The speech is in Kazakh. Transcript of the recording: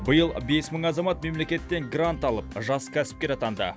биыл бес мың азамат мемлекеттен грант алып жас кәсіпкер атанды